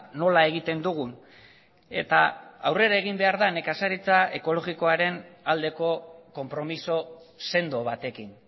nola egiten dugun eta aurrera egin behar da nekazaritza ekologikoaren aldeko konpromiso sendo batekin